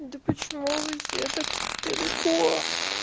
да почему вы все так далеко